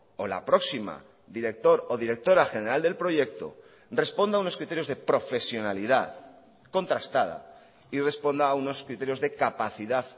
o la próxima director o directora general del proyecto responda a unos criterios de profesionalidad contrastada y responda a unos criterios de capacidad